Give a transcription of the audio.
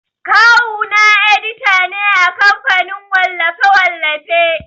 Kawu na edita ne a kamfanin wallafe-wallafe.